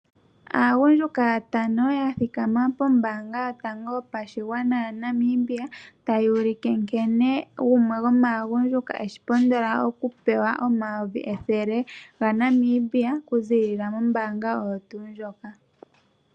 Aagundjuka yatano yathikama pombanga yotango yopashingwana yaNamibia tayuulike nkene gumwe gomagundjuka eshi pondola okupewa omayovi ethele gaNamibia kuzilila mombanga ndjika.